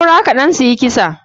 Saura kaɗan suyi kisa.